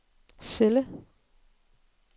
celle